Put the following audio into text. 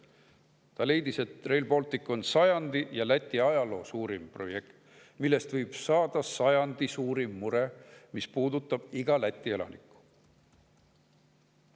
Ta leidis, et Rail Baltic on sajandi ja Läti ajaloo suurim projekt, millest võib saada sajandi suurim mure, mis puudutab igat Läti elanikku.